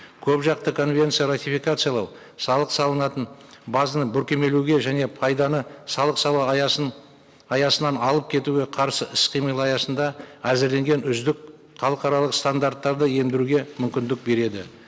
көпжақты конвенция ратификациялау салық салынатын базаны бүркемелеуге және пайданы салық салу аясынан алып кетуге қарсы іс қимыл аясында әзірленген үздік халықаралық стандарттарды ендіруге мүмкіндік береді